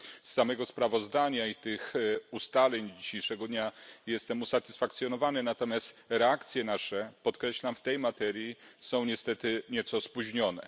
Z samego sprawozdania i z ustaleń z dzisiejszego dnia jestem usatysfakcjonowany, natomiast podkreślam, że nasze reakcje w tej materii są niestety nieco spóźnione.